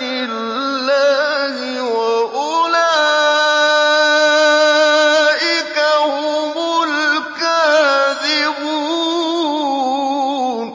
اللَّهِ ۖ وَأُولَٰئِكَ هُمُ الْكَاذِبُونَ